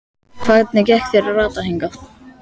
Hvernig gekk þér að rata hingað?